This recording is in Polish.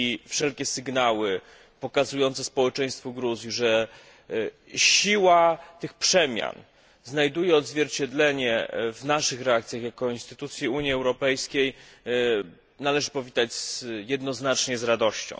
Wszelkie sygnały pokazujące społeczeństwu Gruzji, że siła tych przemian znajduje odzwierciedlenie w naszych reakcjach jako instytucji Unii Europejskiej, należy powitać jednoznacznie z radością.